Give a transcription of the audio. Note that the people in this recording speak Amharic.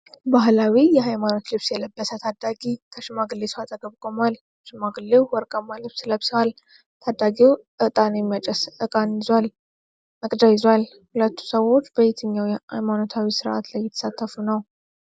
ባህላዊ የሃይማኖት ልብስ የለበሰ ታዳጊ ከሽማግሌ ሰው አጠገብ ቆሟል፤ ሽማግሌው ወርቃማ ልብስ ለብሰዋል። ታዳጊው ዕጣን የሚያጨስ መቅጃ ይዟል። ሁለቱ ሰዎች በየትኛው ሃይማኖታዊ ሥርዓት ላይ እየተሳተፉ ነው?